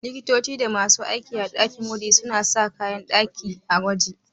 Likitoci da masu aiki a ɗakin gwaji suna sa kayan ɗakin gwaji.